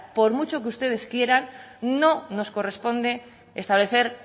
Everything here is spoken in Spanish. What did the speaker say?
por mucho que ustedes quieran no nos corresponde establecer